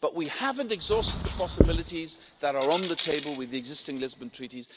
But we haven't exhausted the possibilities that are on the table with the existing Lisbon Treaty.